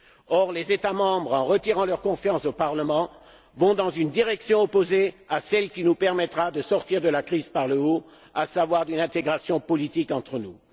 Or les États membres, en retirant leur confiance au Parlement, vont dans une direction opposée à celle qui nous permettra de sortir de la crise par le haut, à savoir une intégration politique entre nous.